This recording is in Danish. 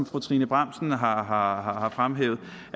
fru trine bramsen har har fremhævet